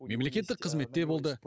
мемлекеттік қызметте болды